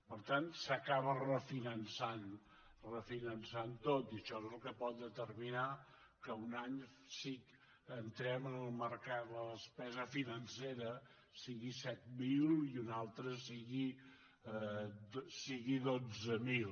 per tant s’acaba refinançant tot i això és el que pot determinar que un any si entrem en el mercat de la despesa financera sigui set mil i un altre sigui dotze mil